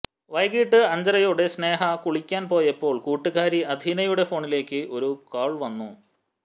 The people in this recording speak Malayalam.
വൈകിട്ട് അഞ്ചരയോടെ സ്നേഹ കുളിക്കാൻ പോയപ്പോൾ കൂട്ടുകാരി അഥീനയുടെ ഫോണിലേക്ക് ഒരു കാൾ വന്നു